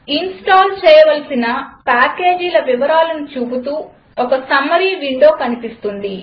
install చేయవలసిన పాకేజీల వివరాలను చూపుతూ ఒక సమ్మరీ విండో కనిపిస్తుంది